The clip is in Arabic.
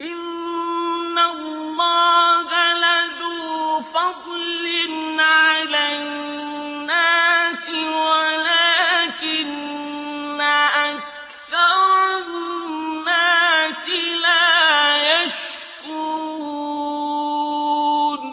إِنَّ اللَّهَ لَذُو فَضْلٍ عَلَى النَّاسِ وَلَٰكِنَّ أَكْثَرَ النَّاسِ لَا يَشْكُرُونَ